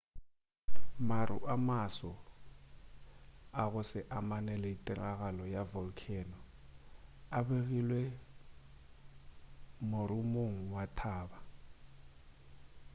maru a maso a go se amane le tiragalo ya volcano a begilwe morumong wa thaba